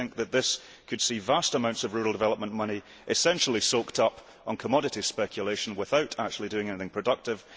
We think that this could see vast amounts of rural development money essentially soaked up in commodity speculation without actually doing anything productive.